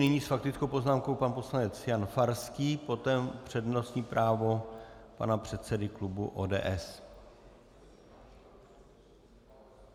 Nyní s faktickou poznámkou pan poslanec Jan Farský, potom přednostní právo pana předsedy klubu ODS.